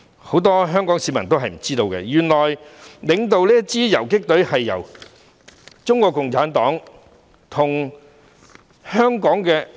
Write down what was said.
很多香港市民也不知道，原來領導這支游擊隊的就是中國共產黨。